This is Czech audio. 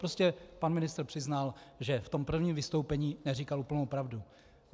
Prostě pan ministr přiznal, že v tom prvním vystoupení neříkal úplnou pravdu.